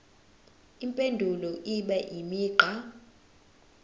impendulo ibe imigqa